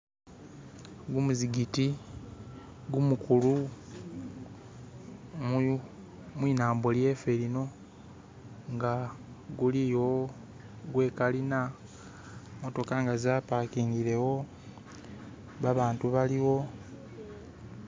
Gumuzikiti gumukulu mwinambo ly'efe lino nga guli iyo gwekalina zimotoka nga zapakingilewo, babantu baliwo